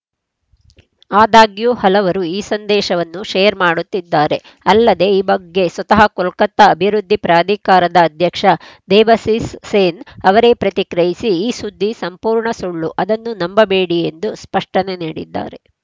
ಆದಾಗ್ಯೂ ಹಲವರು ಈ ಸಂದೇಶವನ್ನು ಶೇರ್‌ ಮಾಡುತ್ತಿದ್ದಾರೆ ಅಲ್ಲದೆ ಈ ಬಗ್ಗೆ ಸ್ವತಃ ಕೊಲ್ಕತ್ತಾ ಅಭಿವೃದ್ಧಿ ಪ್ರಾಧಿಕಾರದ ಅಧ್ಯಕ್ಷ ದೇಬಸಿಸ್‌ ಸೇನ್‌ ಅವರೇ ಪ್ರತಿಕ್ರಿಯಿಸಿ ಈ ಸುದ್ದಿ ಸಂಪೂರ್ಣ ಸುಳ್ಳು ಅದನ್ನು ನಂಬಬೇಡಿ ಎಂದು ಸ್ಪಷ್ಟನೆ ನೀಡಿದ್ದಾರೆ